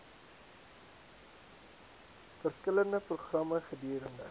verskillende programme gedurende